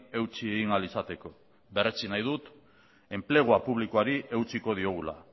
eutsi egin ahal izateko berretsi nahi dut enplegua publikoari eutsiko diogula